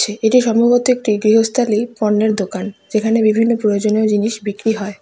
এটি সম্ভবত একটি গৃহস্থালী পণ্যের দোকান যেখানে বিভিন্ন প্রয়োজনীয় জিনিস বিক্রি হয়।